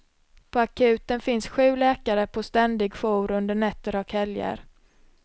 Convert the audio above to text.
På akuten finns sju läkare på ständig jour under nätter och helger.